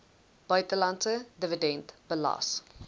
buitelandse dividend belas